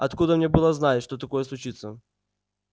откуда мне было знать что такое случится